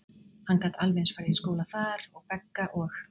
Hann gat alveg eins farið í skóla þar, og Begga og